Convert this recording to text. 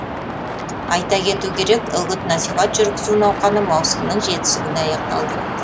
айта кету керек үгіт насихат жүргізу науқаны маусымның жетісі күні аяқталды